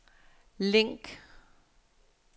link